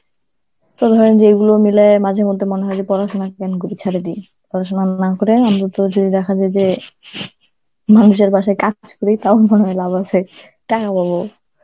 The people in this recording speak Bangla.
যেইগুলো মিলাইয়া মাঝেমধ্যে মনে হয় যে পড়াশোনা কেন করি, ছেড়ে দি. পড়াশোনা না করে আমিতো যদি দেখা যায় যে মানুষের বাসায় কাজ করি তাও মনে হয় লাভ আছে, টাকা পাবো.